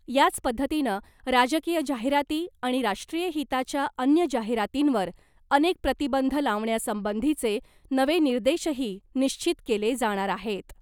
याच पद्धतीनं राजकीय जाहिराती , आणि राष्ट्रीय हिताच्या अन्य जाहिरातींवर अनेक प्रतिबंध लावण्यासंबंधीचे नवे निर्देशही निश्चित केले जाणार आहेत .